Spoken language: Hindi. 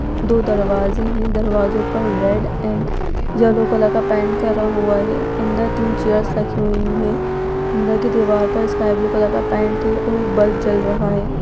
दो दरवाज़े हैं। दरवाजो पर रेड एण्ड येलो कलर का पेंट करा हुआ है। अन्दर तीन चेयर्स रखी हुई हैं। अन्दर की दीवार पर स्काय ब्लू कलर का पेंट है और एक बल्ब जल रहा है।